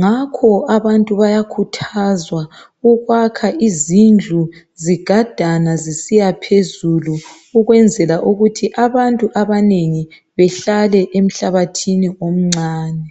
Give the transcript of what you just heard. ngakho abantu bayakhuthazwa ukwakha izindlu zigadane zisiya phezulu ukwenzela ukuthi abantu abanengi behlale emhlabathini omncane